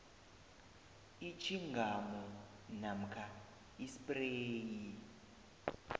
itjhingamu namkha ispreyi